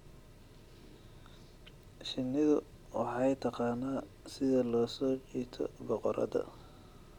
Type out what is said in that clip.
Shinnidu waxay taqaanaa sida loo soo jiito boqorada.